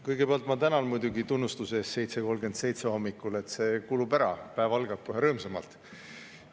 Kõigepealt ma tänan muidugi tunnustuse eest 7.37 hommikul, see kulub ära, päev algab kohe rõõmsamalt.